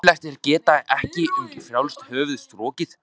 Ömurlegt að geta ekki um frjálst höfuð strokið.